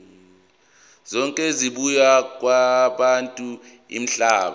zokubuyiselwa kwabantu imihlaba